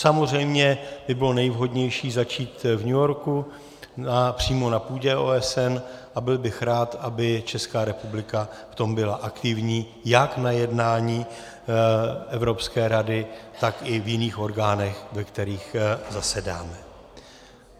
Samozřejmě by bylo nejvhodnější začít v New Yorku, přímo na půdě OSN, a byl bych rád, aby Česká republika v tom byla aktivní jak na jednání Evropské rady, tak i v jiných orgánech, ve kterých zasedáme.